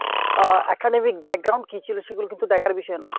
আহ academic কী ছিল সেগুলো কিন্তু দেখার বিষয় না।